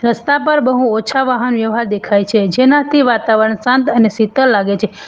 રસ્તા પર બહુ ઓછા વાહન વ્યવહાર દેખાય છે જેનાથી વાતાવરણ શાંત અને શીતળ લાગે છે.